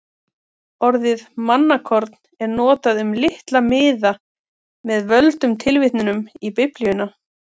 Orðið mannakorn er notað um litla miða með völdum tilvitnunum í Biblíuna.